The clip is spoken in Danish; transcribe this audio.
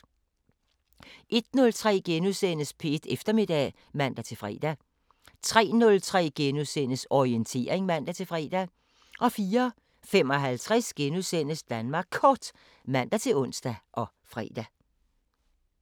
01:03: P1 Eftermiddag *(man-fre) 03:03: Orientering *(man-fre) 04:55: Danmark Kort *(man-ons og fre)